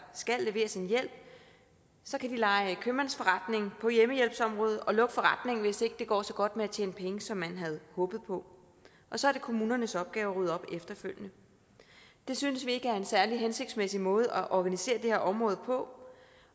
skal leveres en hjælp kan lege købmandsforretning på hjemmehjælpsområdet og lukke forretningen hvis ikke det går så godt med at tjene penge som man havde håbet på og så er det kommunernes opgave at rydde op efterfølgende det synes vi ikke er en særlig hensigtsmæssig måde at organisere det her område på